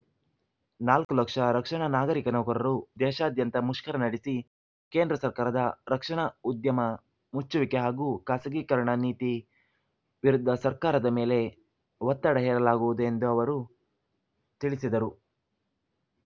ನಾಲ್ಕು ಲಕ್ಷ ರಕ್ಷಣಾ ನಾಗರಿಕ ನೌಕರರು ದೇಶಾದ್ಯಂತ ಮುಷ್ಕರ ನಡೆಸಿ ಕೇಂದ್ರ ಸರ್ಕಾರದ ರಕ್ಷಣಾ ಉದ್ಯಮ ಮುಚ್ಚುವಿಕೆ ಹಾಗೂ ಖಾಸಗೀಕರಣ ನೀತಿ ವಿರುದ್ಧ ಸರ್ಕಾರದ ಮೇಲೆ ಒತ್ತಡ ಹೇರಲಾಗುವುದು ಎಂದು ಅವರು ತಿಳಿಸಿದರು